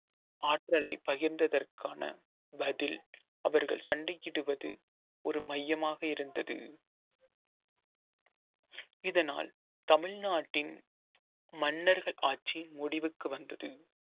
ஆற்றலை பகிர்ந்ததற்கான பதில் அவர்கள் சண்டையிடுவது ஒரு மையமாக இருந்தது இதனால் தமிழ்நாட்டின் மன்னர்கள் ஆட்சி முடிவுக்கு வந்தது